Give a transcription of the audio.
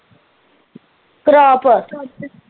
Crop.